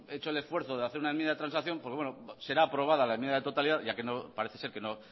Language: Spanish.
hecho el esfuerzo de hacer una enmienda de transacción será aprobada la enmienda de totalidad ya que parece ser que